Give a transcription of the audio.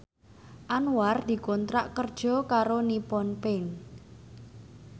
Anwar dikontrak kerja karo Nippon Paint